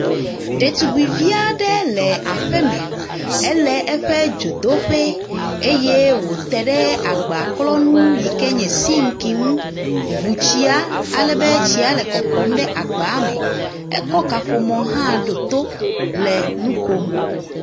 Etɔ aɖe. tɔdziŋu gbogbowo le etɔa dzi. He exɔ aɖewo le etɔa ƒe axadziaxadziwo. Ati kɔkɔ hawo le etɔa ƒe axadzi wo.